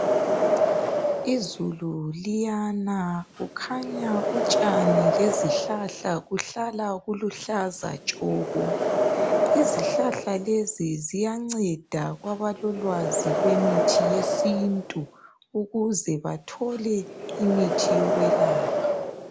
izulu liyana kukhanya utshani lezihlahla kuhlala kuluhlaza tshoko izihlahla lezi ziyanceda kwabalolwazi lwemithi yesintu ukuze bathole imithi yokwelapha